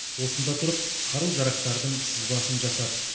осында тұрып қару жарақтардың сызбасын жасады